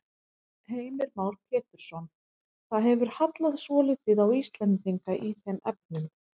Heimir Már Pétursson: Það hefur hallað svolítið á Íslendinga í þeim efnum?